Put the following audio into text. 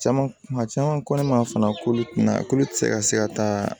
Caman kuma caman ko ne ma fana k'olu tina k'olu tɛ se ka se ka taa